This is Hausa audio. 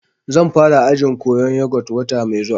Zan fara ajin koyan yogut wata mai zuwa